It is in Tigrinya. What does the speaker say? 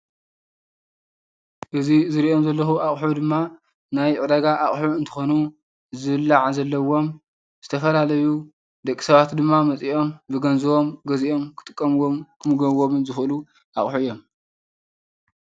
እዚ ዝሪኦም ዘለኹ አቑሑ ድማ ናይ ዕዳጋ አቐሑ እንትኾኑ፤ ዝብላዕ ዘለዎም ዝተፈላለዩ ደቂ ሰባት ድማ መፂኦም ብገንዘቦም ገዚኦም ክጥቀምዎምን ክምገብዎምን ዝኽእሉ አቑሑ እዮም፡፡